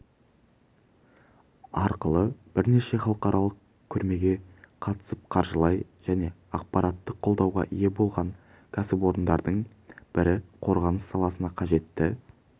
арқылы бірнеше халықаралық көрмеге қатысып қаржылай және ақпараттық қолдауға ие болған кәсіпорындардың бірі қорғаныс саласына қажетті